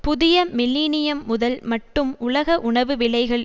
புதிய மில்லினியம் முதல் மட்டும் உலக உணவு விலைகள்